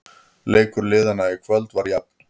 Leikur liðanna í kvöld var jafn